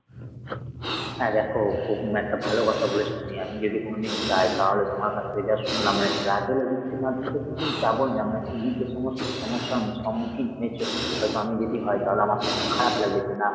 হ্যাঁ দেখ খুব একটা ভালো কথা বলেছ তুমি। আমি যদি কোনোদিন যাই তাহলে তোমার কাছ থেকে যা শুনলাম মানে travel agency র মাধ্যমে তো কোনোদিন যাবোই না মানে তুমি যে সমস্ত সমস্যার সম্মুখীন হয়েছ হয়ত আমি যদি হয় তাহলে আমার তো মন খারাপ লাগবে যে না